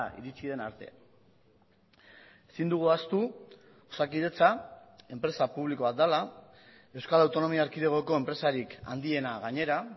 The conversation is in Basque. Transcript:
iritsi den arte ezin dugu ahaztu osakidetza enpresa publiko bat dela euskal autonomia erkidegoko enpresarik handiena gainera